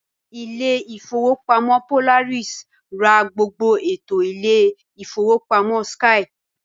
Ilé ìfowópamọ́ Polaris ra gbogbo ẹ̀tọ́ Ilé ìfowópamọ́ skye